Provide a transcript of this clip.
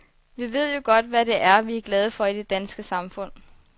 Vi ved jo godt, hvad det er, vi er glade for i det danske samfund.